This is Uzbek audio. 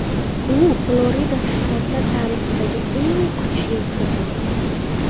U Florida shtati tarixidagi eng kuchlisi bo‘ldi.